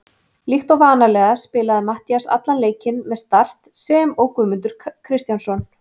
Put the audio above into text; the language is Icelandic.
Líkt og vanalega spilaði Matthías allan leikinn með Start sem og Guðmundur Kristjánsson.